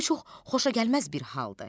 Bu çox xoşagəlməz bir haldır.